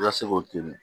I ka se k'o to ye